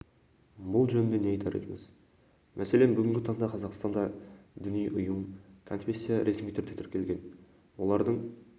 бұл жөнінде не айтар едіңіз мәселен бүгінгі таңда қазақстанда діни ұйым конфессия ресми түрде тіркелген олардың